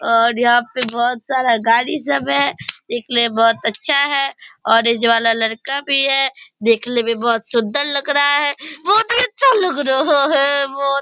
और यहाँ पे बहुत सारा गाड़ी सब है। दिखने मे बहुत अच्छा है वाला लड़का भी है। देखने मे बहुत सुंदर लग रहा है बहुत ही अच्छा लग रहा है बहुत --